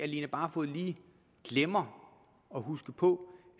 line barfod lige glemmer at huske på